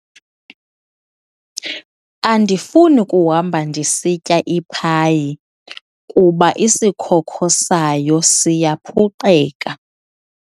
Andifuni kuhamba ndisitya iphayi kuba isikhokho sayo siyaphuqeka.